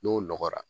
N'o nɔgɔra